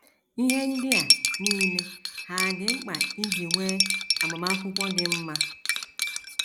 Ihe ndị a nile hà dị mkpa iji nwee agbamakwụkwọ “ dị mma ”?